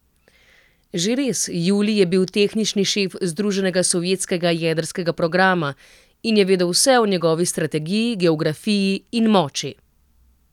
Že res, Julij je bil tehnični šef združenega sovjetskega jedrskega programa in je vedel vse o njegovi strategiji, geografiji in moči.